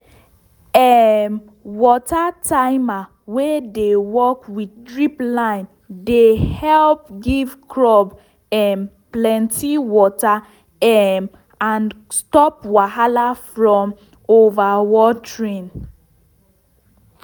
um water timer wey dey work with drip line de help give crop um plenty water um and stop wahala from overwatering